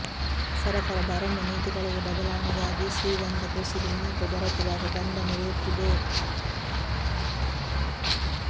ಸರಕಾರದ ಅರಣ್ಯ ನೀತಿಗಳಲ್ಲಿ ಬದಲಾವಣೆಯಾಗಿ ಶ್ರೀಗಂಧ ಕೃಷಿಗೆ ಮಹತ್ವ ದೊರಕಿದಾಗ ಗಂಧ ಮೆರೆಯುತ್ತಿದೆ